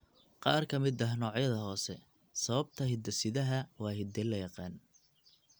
Qaar ka mid ah noocyada hoose, sababta hidde-sidaha waa hidde la yaqaan.